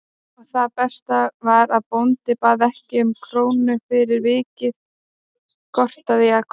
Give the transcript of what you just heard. Og það besta var að bóndi bað ekki um krónu fyrir viðvikið gortaði Jakob.